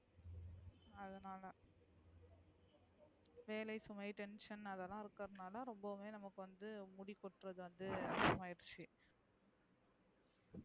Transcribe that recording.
வேலை சுமை tension அதெல்லாம் வந்ததால ரொம்பவுமே முடி கொட்றது வந்து அதிகம் ஐருச்சு.